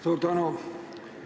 Suur tänu!